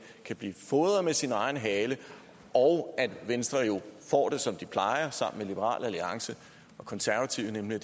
kan blive fodret med sin egen hale og at venstre får det som de plejer sammen med liberal alliance og konservative nemlig